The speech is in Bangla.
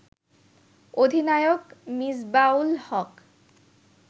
অধিনায়ক মিসবাহ-উল-হক